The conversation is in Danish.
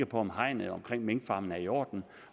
på om hegnet omkring minkfarmene er i orden